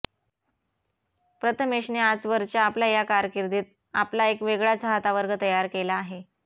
प्रथमेशने आजवरच्या आपल्या कारकिर्दीत आपला एक वेगळा चाहतावर्ग तयार केला आहे